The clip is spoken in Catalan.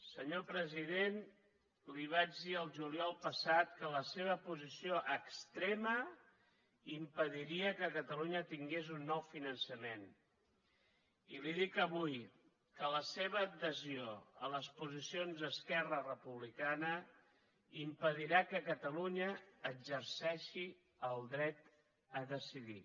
senyor president li vaig dir el juliol passat que la seva posició extrema impediria que catalunya tingués un nou finançament i li dic avui que la seva adhesió a les posicions d’esquerra republicana impedirà que catalunya exerceixi el dret a decidir